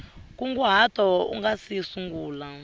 nkunguhato u nga si sungula